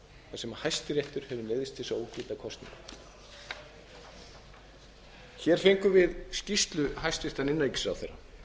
sem hæstiréttur hefur neyðst til að ógilda kosninguna hér fengum við skýrslu hæstvirts innanríkisráðherra